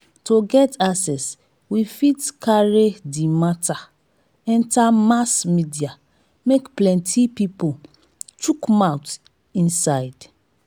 to get access we fit carry di matter enter mass media make plenty pipo chook mouth inside